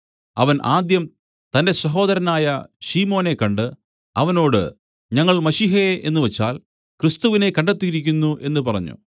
അവൻ ആദ്യം തന്റെ സഹോദരനായ ശിമോനെ കണ്ട് അവനോട് ഞങ്ങൾ മശീഹയെ എന്നുവച്ചാൽ ക്രിസ്തുവിനെ കണ്ടെത്തിയിരിക്കുന്നു എന്നു പറഞ്ഞു